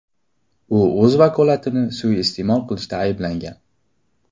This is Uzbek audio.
U o‘z vakolatlarini suiiste’mol qilishda ayblangan.